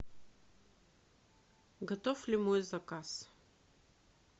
готов ли мой заказ